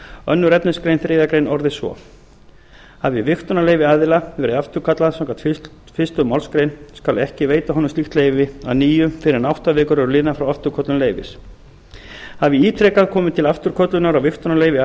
annars efnismgr þriðju grein orðist svo hafi vigtunarleyfi aðila verið afturkallað samkvæmt fyrstu málsgrein skal ekki veita honum slíkt leyfi að nýju fyrr en átta vikur eru liðnar frá afturköllun leyfis hafi ítrekað komið til afturköllunar á vigtunarleyfi